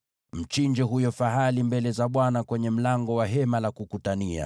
Mchinje huyo fahali mbele za Bwana kwenye mlango wa Hema la Kukutania.